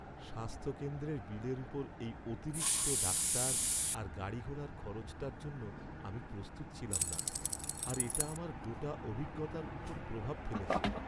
স্বাস্থ্য কেন্দ্রের বিলের ওপর এই অতিরিক্ত ডাক্তার আর গাড়িঘোড়ার খরচটার জন্য আমি প্রস্তুত ছিলাম না আর এটা আমার গোটা অভিজ্ঞতার ওপর প্রভাব ফেলেছে।